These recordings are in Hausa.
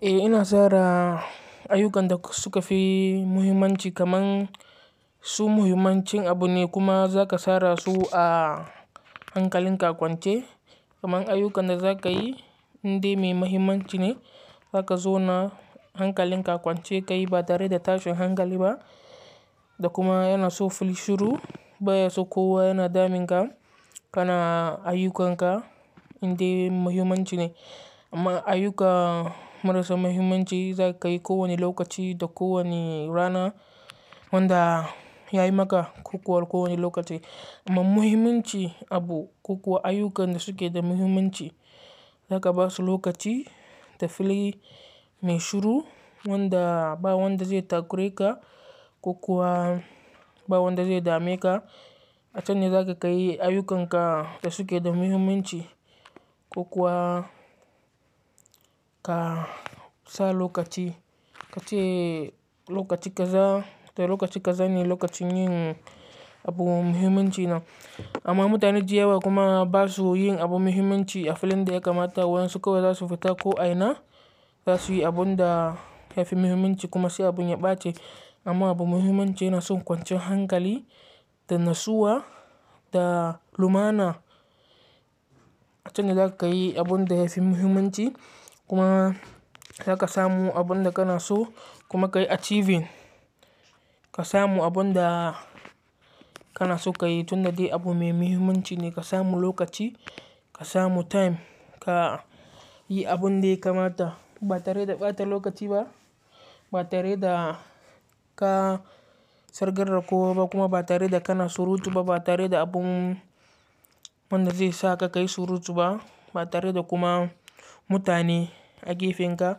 Eh ina sara ayyukan da suka fi muhimmanci kaman su muhimmancin abu ne kuma za ka sara su a hankalinka akwance. Kaman ayyukan da za ka yi inda mai mahimmanci ne, za ka zo na hankalinka akwance ka yi ba tare da tashin hankali ba da kuma yana so fili shiru. Baya so kowa yana damun ka, kana ayyukanka indai mai mahimmanci ne. Amma ayyuka marasa mahimmanci za ka yi ko wani lokaci da ko wani rana wanda ya yi maka kokuwa ko wane lokaci. Amma muhimmanci abu kokuwa ayyukan da suke da muhimmanci, za ka ba su lokaci da fili mai shiru wanda ba wanda zai takureka kokuwa ba wanda zai dame ka. A can ne za ka yi ayyukanka da suke da muhimmanci kokuwa ka sa lokaci kace lokaci kaza da lokaci kaza ne lokacin yin abu muhimmanci nan. Amma mutane daya wa kuma ba su yin abu muhimmanci a filin da ya kamata. Wa'en su kawai za su fita ko a ina za su yi abun da yafi muhimmanci kuma sai abun ya ɓaci. Amma abu muhimmanci yana son kwancin hankali da nasuwa da lumana. A can ne za ka yi abun da yafi muhimmanci kuma za ka samu abun da kana so kuma ka yi achieving. Ka samu abun da kana so ka yi tun da dai abu mai muhimmanci ne ka samu lokaci, ka samu time, ka yi abun dai kamata ba tare da ɓata lokaci ba, ba tare da ka sargar kowa ba kuma ba tare da kana surutu ba, ba tare da abun wanda zai sa ka ka yi surutu ba, ba tare da kuma mutane a gefenka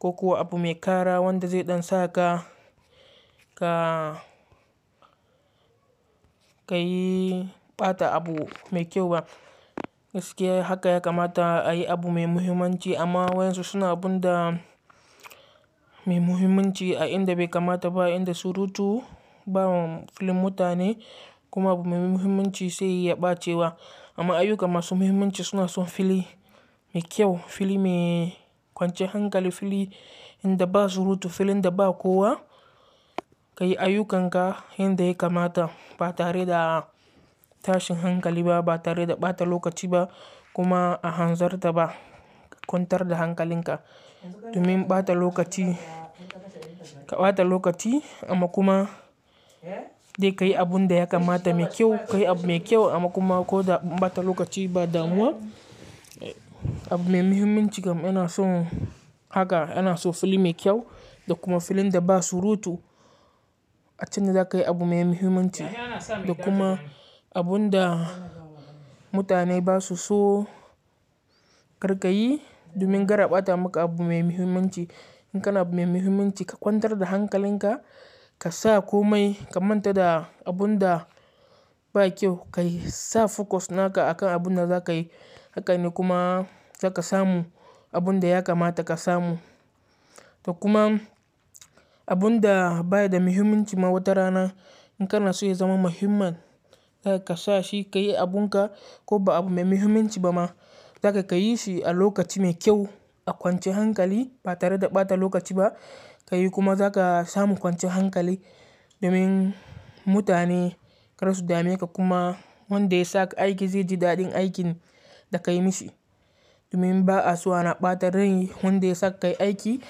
kokuwa abu mai ƙara wanda zai ɗan sa ka, ka, ka yi ɓata abu mai kyau ba. Gaskiya haka ya kamata a yi abu mai muhimmanci amma wa' Yan su suna abun da mai muhimmanci a inda bai kamata ba, a inda surutu bawa filin mutane kuma abu mai muhimmanci sai ya ɓace wa. Amma ayyuka masu muhimmanci suna son fili mai kyau, fili mai kwancinyan hankali, fili inda ba surutu, filin da ba kowa ka yi ayyukanka inda ya kamata ba tare da tashin hankali ba, ba tare da ɓata lokaci ba kuma a hanzarta ba. Ka kwantar da hankalinka domin ɓata lokaci, ka ɓata lokaci amma kuma dai ka yi abun da ya kamata mai kyau, ka yi abu mai kyau amma kuma ko da anɓata lokaci ba damuwa. Abu mai muhimmanci kam yana son haka, yana so fili mai kyau da kuma filin da ba surutu. A can ne za ka yi abu mai muhimmanci da kuma abun da mutane ba su so kar ka yi domin kar a ɓata maka abu mai muhimmanci. In kana abu mai muhimmanci ka kwantar da hankalinka, ka sa komai ka manta da abun da ba kyau. Ka yi sa focus naka akan abun da za ka yi haka ne kuma za ka samu abun da ya kamata ka samu. Da kuma abun da baya da muhimmanci ma wata rana in kana so ya zama muhimman, za ka sa shi ka yi abun ka ko ba abu mai muhimmanci ba ma, za ka ka yi shi a lokaci mai kyau, a kwancinyan hankali ba tare da ɓata lokaci ba. Ka yi kuma za ka samu kwancinyan hankali domin mutane kar su dame ka kuma wanda ya saka aiki zai ji daɗin aikin da ka yi mishi. Domin ba'a so ana ɓata rai wanda ya saka yi aiki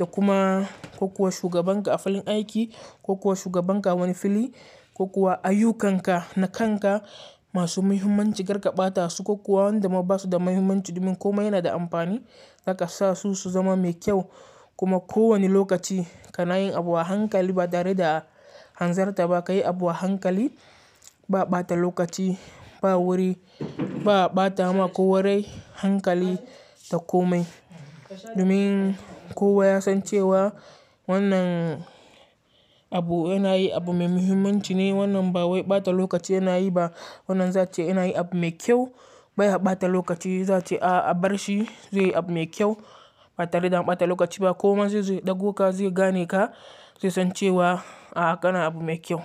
da kuma kokuwa shugabanka a filin aiki, kokuwa shugabanka awani fili, kokuwa ayyukanka na kanka masu muhimmanci kar ka ɓata su kokuwa wanda ma ba su da muhimmanci domin komai yana da amfani. Za ka sa su su zama mai kyau kuma ko wane lokaci kana yin abu a hankali ba tare da a hanzarta ba, ka yi abu a hankali ba ɓata lokaci, ba wuri, ba ɓata ma ko warai, hankali da komai. Domin kowa ya san cewa wannan abu yana yi abu mai muhimmanci ne wannan ba wai ɓata lokaci yana yi ba. Wannan zai ace yana yin abu mai kyau baya ɓata lokaci, za'a ce a a bar shi zai yi abu mai kyau ba tare da ɓata lokaci ba ko kuma zai zo ya ɗauko ka zai gane ka zai san cewa a haka na abu mai kyau.